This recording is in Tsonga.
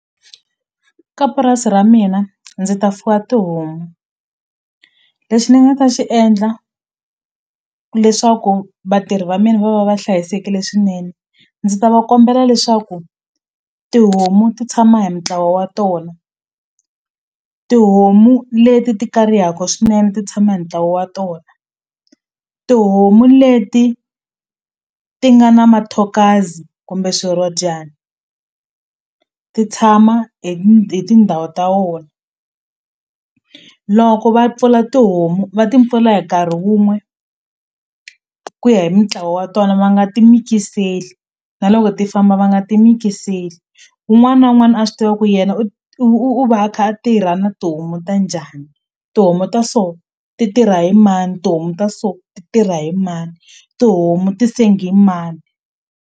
Ka purasi ra mina ndzi ta fuwa tihomu lexi ni nga ta xi endla leswaku vatirhi va mina va va va hlayisekile swinene ndzi ta va kombela leswaku tihomu ti tshama hi ntlawa wa tona tihomu leti ti karihaka swinene ti tshama hi ntlawa wa tona tihomu leti ti nga na mathokazi kumbe swirhodyani ti tshama hi hi tindhawu ta wona loko va pfula tihomu va ti pfula hi nkarhi wun'we ku ya hi mintlawa wa tona va nga ti mikiseli na loko ti famba va nga ti mikiseli wun'wana na wun'wana a swi tiva ku yena u u u va a kha a tirha na tihomu ta njhani tihomu ta so ti tirha hi mani tihomu ta so ti tirha hi mani tihomu ti sengiwa hi mani.